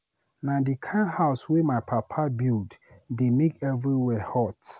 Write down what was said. Na di kind house wey my papa build dey make everywhere hot.